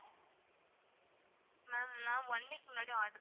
ma'am நான் one week முன்னாடி order